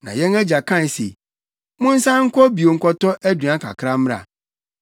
“Na yɛn agya kae se, ‘Monsan nkɔ bio nkɔtɔ aduan kakra mmra.’